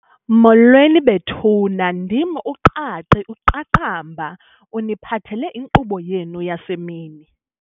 Molweni, bethuna ndim uQaqi uQaqamba uniphathele inkqubo yenu yasemini.